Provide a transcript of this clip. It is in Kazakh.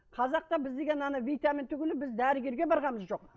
қазақта біз деген ана витамин түгілі біз дәрігерге барғанымыз жоқ